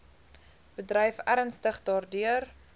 bedryf ernstig daardeur